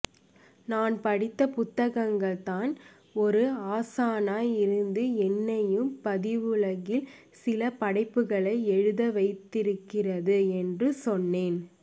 நான் படித்த புத்தகங்கள் தான் ஒரு ஆசானாய் இருந்து என்னையும் பதிவுலகில் சில படைப்புகளை எழுத வைத்திருக்கிறது என்று சொன்னேன்